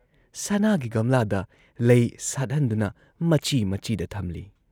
ꯁꯅꯥꯥꯒꯤ ꯒꯝꯂꯥꯗ ꯂꯩ ꯁꯥꯠꯍꯟꯗꯨꯅ ꯃꯆꯤ ꯃꯆꯤꯗ ꯊꯝꯂꯤ ꯫